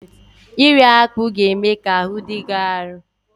Iri akpụ ga-eme ka ahụ dị gị arụ.